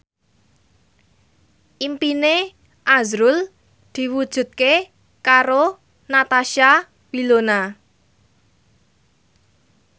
impine azrul diwujudke karo Natasha Wilona